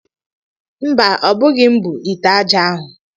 Mba, o bu gi'm bu ite ájá ahu.